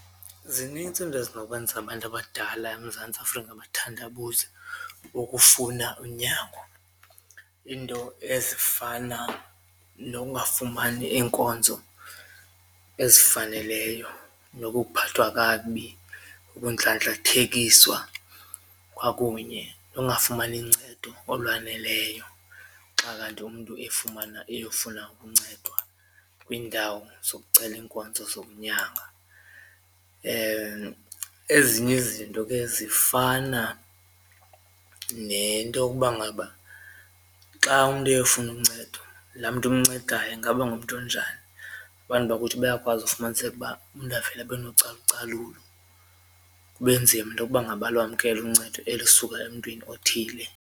Zinintsi izinto ezinokwenza abantu abadala eMzantsi Afrika bathandabuze ukufuna unyango iinto ezifana nokungafumani iinkonzo ezifaneleyo nokuphathwa kakubi, ukundlandlathekiswa kwakunye nokungafumani ncedo olwaneleyo xa kanti umntu efumana eyofuna ukuncedwa kwiindawo zokucela iinkonzo zokunyanga. Ezinye izinto ke zifana nento yokuba ngaba xa umntu eyofuna uncedo laa mntu umncedayo ingaba ngumntu onjani, abantu bakuthi bayakwazi ufumaniseka uba umntu avele abe nocalucalulo kube nzima into yokuba ngaba alwamkele uncedo elisuka emntwini othile.